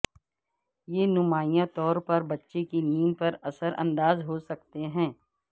یہ نمایاں طور پر بچے کی نیند پر اثر انداز ہو سکتے ہیں